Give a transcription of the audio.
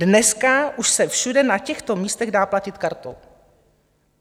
Dneska už se všude na těchto místech dá platit kartou.